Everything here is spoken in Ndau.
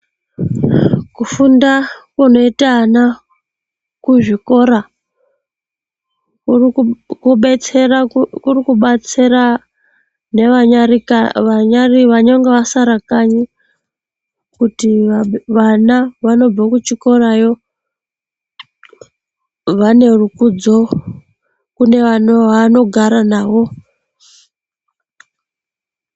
Kufunda kunoita ana kuzvikora kurikubetsera nevanenge vasara kanyi kuti vana vanobve kuchikorayo vane rukudzo kune vavanogara navo.